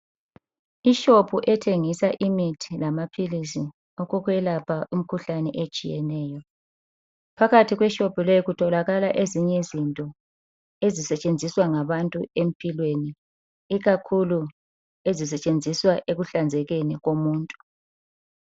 Ishophu ethengisa imithi lamaphilisi okokwelapha imikhuhlane etshiyeneyo. Phakathi kweshopu le kutholakala ezinye izinto ezisetshenziswa ngabantu empilweni ikakhulu ezisetshenziswa ekuhlanzekeni komuntu